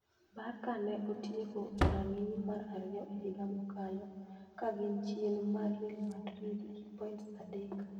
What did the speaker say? Barca ne otieko e rang'iny mar ariyo e higa mokalo, ka gin chien mar Real Madrid gi points adek.